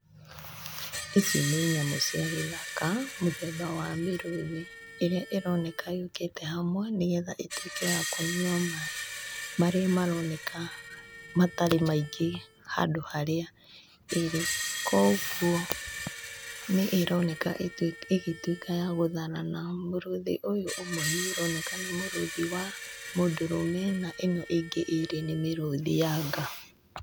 Ici nĩ nyamũ cia gĩthaka, mũthemba wa mĩrũthi. Ĩrĩa ĩroneka yũkĩte hamwe, nĩgetha ĩtuĩke ya kũnyua maaĩ, marĩa maroneka matarĩ maingĩ handũ harĩa ĩrĩ. Kũguo, nĩ ĩroneka ĩgĩtuĩka ya gũtharana. Mũrũthi ũyũ ũmwe nĩ ũroneka nĩ mũrũthi wa mũndũrũme, na ĩno ĩngĩ ĩĩrĩ nĩ mĩrũthi ya nga.